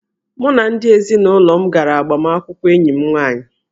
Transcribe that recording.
Mụ na ndị ezinụlọ m gara agbamakwụkwọ enyi m nwaanyị